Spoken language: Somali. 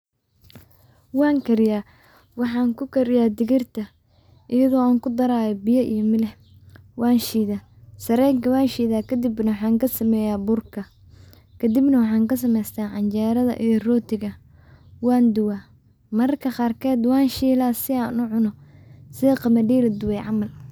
Wan kariya oo waxan kukariya digir iyado kudarayo milix iyo biya, sarenka wanshida kadibna waxan kasamesta burka dibna waxan kasamesta burka wan duwa mararka qarkeda wan shida sida qamadida.